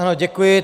Ano, děkuji.